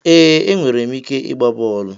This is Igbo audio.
Ee, enwere m ike ịgba bọọlụ.